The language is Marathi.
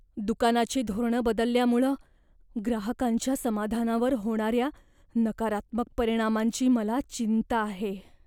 दुकानाची धोरणं बदलल्यामुळं ग्राहकांच्या समाधानावर होणाऱ्या नकारात्मक परिणामांची मला चिंता आहे.